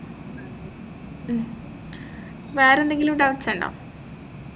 വേറെന്തെങ്കിലും doubts ഇണ്ടോ